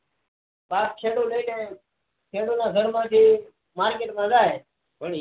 પાક છેટો થઇ ખેડૂત ના ગર માં થી market માં જાય